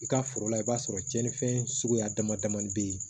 I ka foro la i b'a sɔrɔ cɛni fɛn suguya dama damani bɛ ye